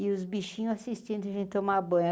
E os bichinhos assistindo, a gente tomava banho.